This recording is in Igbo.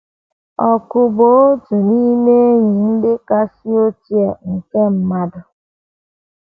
Ọkụ bụ otu n’ime enyi ndị kasị ochie nke mmadụ.